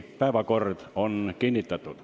Päevakord on kinnitatud.